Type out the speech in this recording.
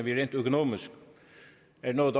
noget